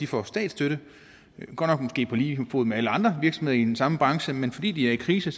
få statsstøtte godt nok måske på lige fod med alle andre virksomheder i den samme branche men fordi de er i krise